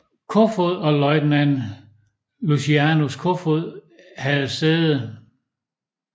Koefoed og løjtnant Lucianus Kofod havde sæde